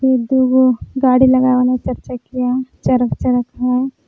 ई दुगो गाड़ी लगावल है चारचकिया चरक चरक हई।